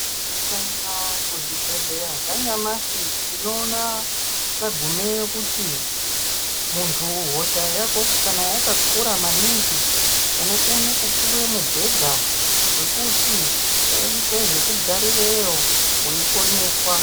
Ukaende kuzvibhedhleya zvanyamashi tinoona tagumeyo kuti muntu hosha yako kana yakakura maningi unokone kupuwe mubhedha wekuti uite zvekugarireyo weiponeswa.